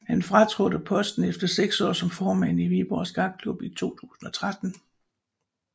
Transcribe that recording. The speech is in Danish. Han fratrådte posten efter seks år som formand i Viborg Skakklub i 2013